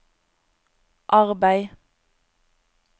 arbeid